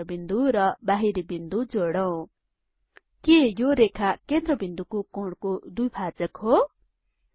केन्द्रबिन्दु र बाहिरी बिन्दु जोडौं के यो रेखा केन्द्रबिन्दुको कोणको दुईभाजक हो